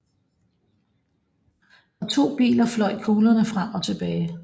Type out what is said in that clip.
Fra to biler fløj kuglerne frem og tilbage